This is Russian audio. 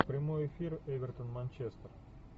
прямой эфир эвертон манчестер